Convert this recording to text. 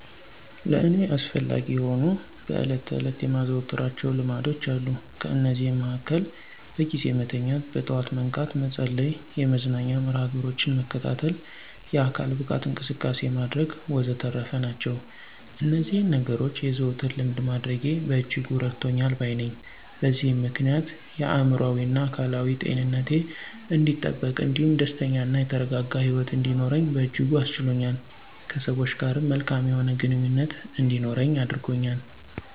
ለእኔ አስፈላጊ የሆኑ በዕለት ተዕለት የማዘወትራቸው ልማዶች አሉ። ከነዚህም መሀከል በጊዜ መተኛት፣ በጠዋት መንቃት፣ መጸለይ፣ የመዝናኛ መርሀ ግብሮችን መከታተል፣ የአካል ብቃት እንቅስቃሴ ማድረግ ወዘተረፈ ናቸው። እነዚህን ነገኖች የዘወትር ልምድ ማድረጌ በእጅጉ እረድቶኛል ባይ ነኘ። በዚህም ምክንያት የአእምሮአዊና አካላዊ ጤንነቴ አንዲጠበቅ እንዲሁም ደስተኛ እና የተረጋጋ ሂወት እንድኖር በእጅጉ አስችሎኛል። ከሰወች ጋርም መልካም የሆነ ግንኙነት እንዲኖረኝ አድርጎኛል።